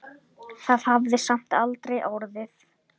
Það hafði samt aldrei orðið.